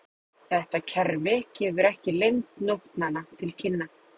Þetta kerfi gefur ekki lengd nótnanna til kynna.